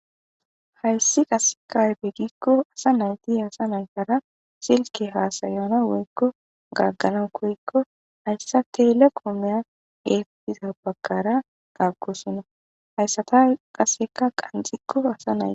hayssi qasekaypegikko asa nayti asa naykara silke haasayana woykko gaggana koyekko hayssa telekoomeya eetiza bagkara taakkosonna hayssatay qasseka qanxikko asa nay